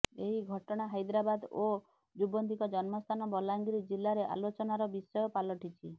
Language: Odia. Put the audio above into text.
ଏହି ଘଟଣା ହାଇଦ୍ରାବାଦ ଓ ଯୁବତୀଙ୍କ ଜନ୍ମସ୍ଥାନ ବଲାଙ୍ଗୀର ଜିଲ୍ଲାରେ ଆଲୋଚନାର ବିଷୟ ପାଲଟିଛି